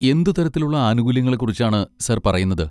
എന്ത് തരത്തിലുള്ള ആനുകൂല്യങ്ങളെക്കുറിച്ചാണ് സാർ പറയുന്നത്?